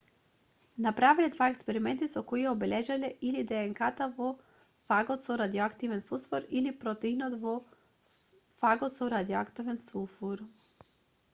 направиле два експерименти со кои ја обележале или днк-та во фагот со радиоактивен фосфор или протеинот во фагот со радиоактивен сулфур